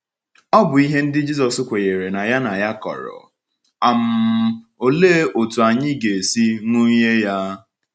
Ọ̀ bụ ihe ndị Jisọs kwenyere na ya na ya kọrọ, um òlee otú anyị ga-esi ṅụnye ya?